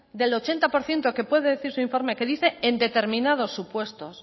del ochenta por ciento que puede decir su informe que dice en determinados supuestos